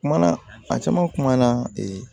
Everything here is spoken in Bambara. Kumana a caman kumana ee